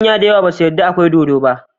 Manya dayawa basu yada akwai dodo ba